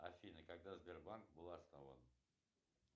афина когда сбербанк был основан